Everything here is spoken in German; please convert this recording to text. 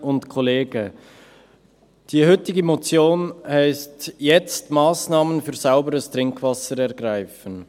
Die heutige Motion heisst: «Jetzt Massnahmen für sauberes Trinkwasser ergreifen».